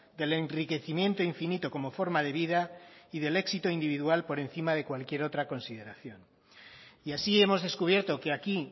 del enriquecimiento infinito como forma de vida y del éxito individual por encima de cualquier otra consideración y así hemos descubierto que aquí